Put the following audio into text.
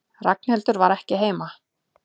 Ragnhildur var ekki heima.